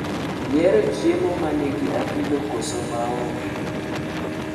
Ihero chiemo manigi apilo koso maonge?